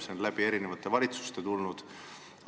See on siia tulnud erinevate valitsuste abiga.